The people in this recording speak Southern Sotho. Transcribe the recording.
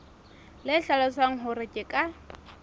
le hlalosang hore ke ka